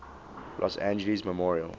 los angeles memorial